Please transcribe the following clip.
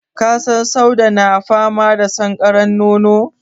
Ka san Sauda na fama da sankaran nono?